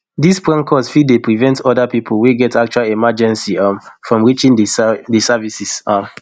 dis prank calls fit dey prevent oda pipo wey gat actual emergency um from reaching di service um